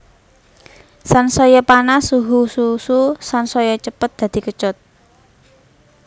Sansaya panas suhu susu sansaya cepet dadi kecut